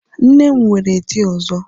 Nne m nwere di ọzọ